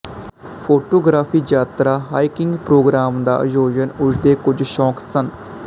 photography ਯਾਤਰਾ hiking programme ਦਾ ਆਯੋਜਨ ਉਸ ਦੇ ਕੁਝ ਸ਼ੌਕ ਸਨ